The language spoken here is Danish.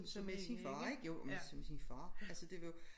Som med sin far ikke jo og med som sin far altså det var